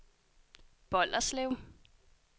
Bolderslev